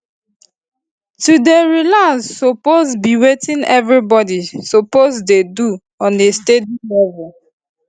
to dey relax suppose be wetin everybody suppose dey do on a steady levels